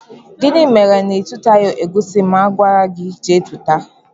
Gịnị mere na itutaghi egusi mụ gwara gị jee túta?